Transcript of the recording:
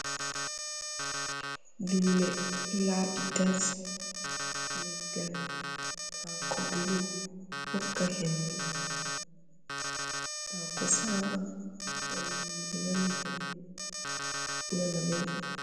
Duule, ɗo laaɓi tas, leggal, haako grin, ɓokka hendu. Haako saama, nden nana hendu, nana beldum.